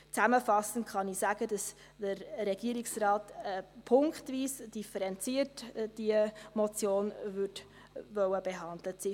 Zusammenfassend kann ich sagen, dass der Regierungsrat diese Motion punktweise differenziert behandelt haben möchte: